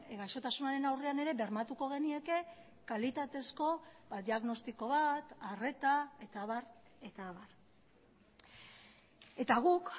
gaixotasunaren aurrean ere bermatuko genieke kalitatezko diagnostiko bat arreta eta abar eta abar eta guk